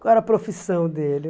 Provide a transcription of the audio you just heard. Qual era a profissão dele?